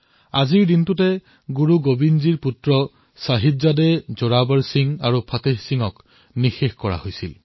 আজিৰ দিনটোতেই গুৰু গোৱিন্দ সিংজীৰ পুত্ৰ চাহিবজাদে জোৰাৱৰ সিং আৰু ফতেহ সিঙক দেৱালত জীয়াই খোদিত কৰা হৈছিল